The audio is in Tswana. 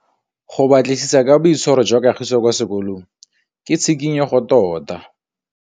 Go batlisisa ka boitshwaro jwa Kagiso kwa sekolong ke tshikinyêgô tota.